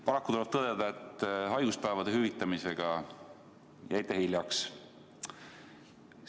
Paraku tuleb tõdeda, et haiguspäevade hüvitamisega jäite hiljaks.